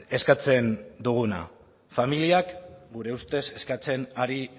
eskatzen duguna familiak gure ustez eskatzen ari